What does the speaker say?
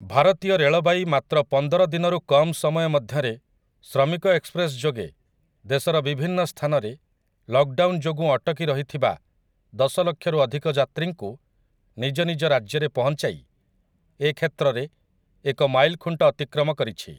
ଭାରତୀୟ ରେଳବାଇ ମାତ୍ର ପନ୍ଦର ଦିନରୁ କମ ସମୟ ମଧ୍ୟରେ ଶ୍ରମିକ ଏକ୍ସପ୍ରେସ୍‌ ଯୋଗେ ଦେଶର ବିଭିନ୍ନ ସ୍ଥାନରେ ଲକ୍‌ଡାଉନ୍‌ ଯୋଗୁଁ ଅଟକି ରହିଥିବା ଦଶଲକ୍ଷରୁ ଅଧିକ ଯାତ୍ରୀଙ୍କୁ ନିଜନିଜ ରାଜ୍ୟରେ ପହଞ୍ଚାଇ ଏକ୍ଷେତ୍ରରେ ଏକ ମାଇଲଖୁଂଟ ଅତିକ୍ରମ କରିଛି ।